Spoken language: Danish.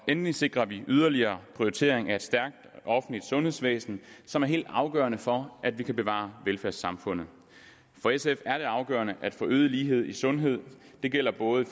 endelig sikrer vi yderligere prioritering af et stærkt offentligt sundhedsvæsen som er helt afgørende for at vi kan bevare velfærdssamfundet for sf er det afgørende at få øget lighed i sundhed og det gælder både i